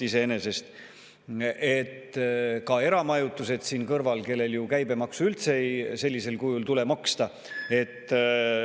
ka eramajutusega võrreldes, kus käibemaksu üldse sellisel kujul ei tule maksta.